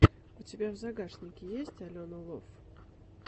у тебя в загашнике есть алена лов